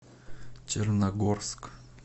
черногорск